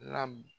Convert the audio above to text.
La